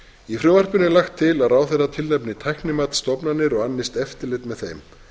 í frumvarpinu er lagt til að ráðherra tilnefni tæknimatsstofnanir og annist eftirlit með þeim